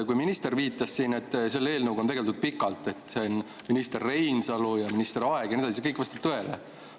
Kui minister viitas siin, et selle eelnõuga on tegeldud pikalt, minister Reinsalu ja minister Aeg ja nii edasi, siis see kõik vastab tõele.